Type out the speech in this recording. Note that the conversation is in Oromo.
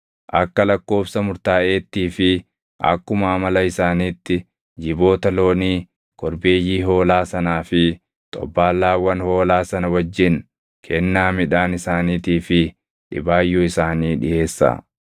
Akka lakkoobsa murtaaʼeettii fi akkuma amala isaaniitti jiboota loonii, korbeeyyii hoolaa sanaa fi xobbaallaawwan hoolaa sana wajjin kennaa midhaan isaaniitii fi dhibaayyuu isaanii dhiʼeessaa.